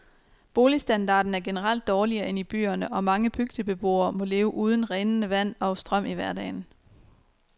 Boligstandarden er generelt dårligere end i byerne, og mange bygdebeboere må leve uden rindende vand og strøm i hverdagen.